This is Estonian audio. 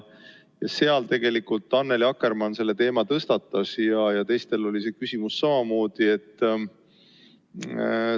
Annely Akkermann selle teema tõstatas ja teistel oli samamoodi see küsimus.